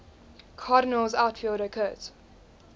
cardinals outfielder curt